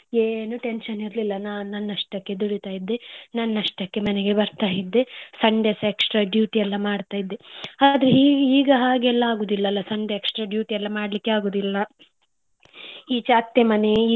ಏನ್ tension ಇರ್ಲಿಲ್ಲ ನಾನ್ ನನ್ನಷ್ಟಕ್ಕೇ ದುಡಿತ ಇದ್ದೆ ನನ್ನಷ್ಟಕ್ಕೇ ಮನೆಗೆ ಬರ್ತಾ ಇದ್ದೆ sunday ಸ extra duty ಮಾಡ್ತಿದ್ದೆ ಆದ್ರೆ ಈಗ ಹಾಗೆಲ್ಲ ಆಗುದಿಲ್ಲಲ್ಲಾ sunday extra duty ಎಲ್ಲ ಮಾಡ್ಲಿಕ್ಕೆ ಆಗುದಿಲ್ಲ ಈಚೆ ಅತ್ತೆ ಮನೆ.